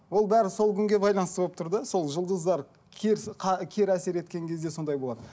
ол бәрі сол күнге байланысты болып тұр да сол жұлдыздар кері әсер еткен кезде сондай болады